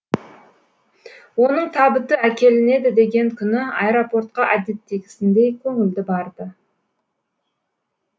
оның табыты әкелінеді деген күні аэропортқа әдеттегісіндей көңілді барды